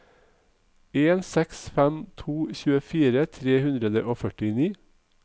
en seks fem to tjuefire tre hundre og førtini